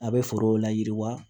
A bɛ forow layiriwa